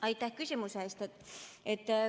Aitäh küsimuse eest!